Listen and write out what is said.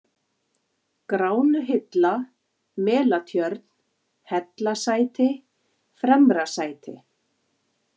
Gránuhilla, Melatjörn, Hellasæti, Fremrasæti